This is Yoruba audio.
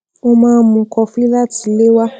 ó máa ń mú kọfí láti ilé wá